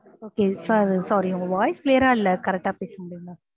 okay sir sorry உங்க voice clear ஆ இல்ல correct ஆ பேச முடியுமா?